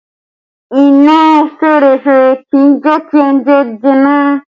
Iná fẹ́rẹ́fẹ́ kì í jẹ kí oúnjẹ jóná